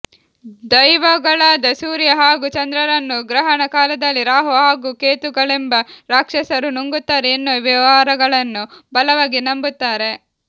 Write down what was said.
ದೈವಗಳಾದ ಸೂರ್ಯ ಹಾಗೂ ಚಂದ್ರರನ್ನು ಗ್ರಹಣ ಕಾಲದಲ್ಲಿ ರಾಹು ಹಾಗೂ ಕೇತುಗಳೆಂಬ ರಾಕ್ಷಸರು ನುಂಗುತ್ತಾರೆ ಎನ್ನುವ ವಿವರಗಳನ್ನು ಬಲವಾಗಿ ನಂಬುತ್ತಾರೆ